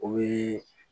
O bɛ